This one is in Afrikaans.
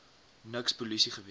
niks polisie gewees